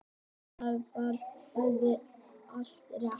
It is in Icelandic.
Þar var auðvitað allt rétt.